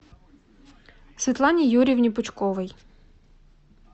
светлане юрьевне пучковой